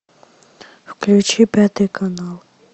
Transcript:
включи пятый канал